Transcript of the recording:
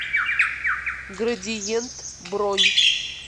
градиент бронь